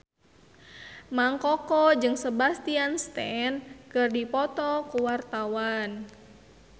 Mang Koko jeung Sebastian Stan keur dipoto ku wartawan